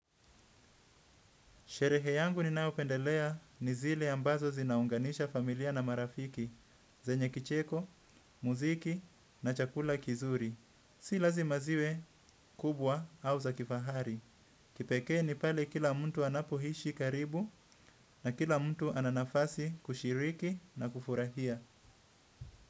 Sherehe yangu ninayopendelea ni zile ambazo zinaunganisha familia na marafiki, zenye kicheko, muziki na chakula kizuri. Si lazima ziwe kubwa au za kifahari. Kipekee ni pale kila mtu anapoishi karibu na kila mtu ana nafasi kushiriki na kufurahia.